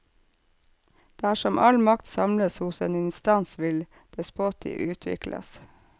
Dersom all makt samles hos en instans vil despoti utvikles.